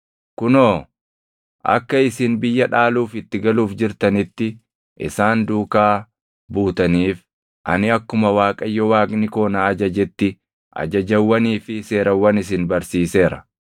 Kunoo, akka isin biyya dhaaluuf itti galuuf jirtanitti isaan duukaa buutaniif ani akkuma Waaqayyo Waaqni koo na ajajetti ajajawwanii fi seerawwan isin barsiiseera.